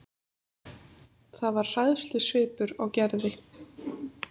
Það var hræðslusvipur á Gerði.